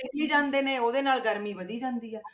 ਜਾਂਦੇ ਨੇ ਉਹਦੇ ਨਾਲ ਗਰਮੀ ਵਧੀ ਜਾਂਦੀ ਹੈ।